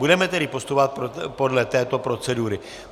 Budeme tedy postupovat podle této procedury.